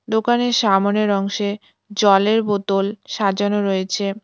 দোকানের সামোনের অংশে জলের বোতল সাজানো রয়েছে।